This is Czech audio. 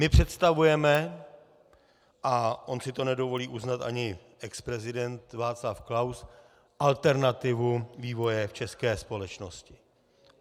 My představujeme, a on si to nedovolí uznat ani exprezident Václav Klaus, alternativu vývoje v české společnosti.